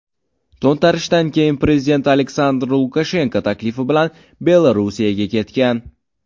To‘ntarishdan keyin prezident Aleksandr Lukashenko taklifi bilan Belorussiyaga ketgan.